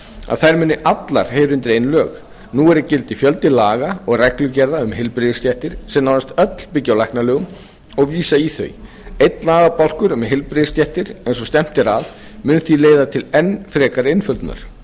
að þær muni allar heyra undir ein lög nú er í gildi fjöldi laga og reglugerða um heilbrigðisstéttir sem nánast öll byggja á læknalögum og vísa í þau einn lagabálkur um heilbrigðisstéttir eins og stefnt er að mun því leiða til enn frekari einföldunar